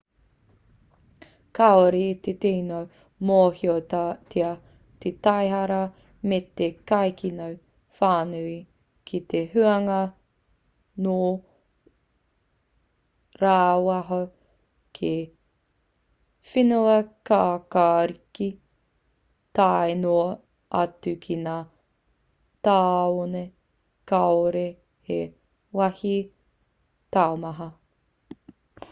kāore i te tino mōhiotia te taihara me te kaikino whānui ki te hunga nō rāwaho ki whenuakākāriki tae noa atu ki ngā tāone kāore he wāhi taumaha